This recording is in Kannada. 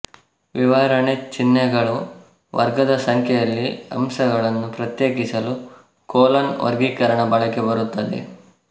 ವಿವರಣೆ ಚಿಹ್ನೆಗಳು ವರ್ಗದ ಸಂಖ್ಯೆಯಲ್ಲಿ ಅಂಶಗಳನ್ನು ಪ್ರತ್ಯೇಕಿಸಲು ಕೊಲೊನ್ ವರ್ಗೀಕರಣ ಬಳಕೆ ಬರುತ್ತದೆ